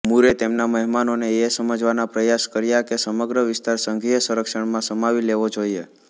મૂરે તેમના મહેમાનોને એ સમજાવવાના પ્રયાસ કર્યા કે સમગ્ર વિસ્તાર સંઘીય સંરક્ષણમાં સમાવી લેવો જોઇએ